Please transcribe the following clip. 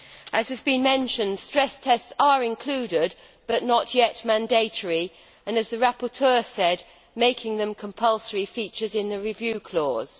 As has been mentioned, stress tests are included but not yet mandatory. As the rapporteur said, making them compulsory features in the review clause.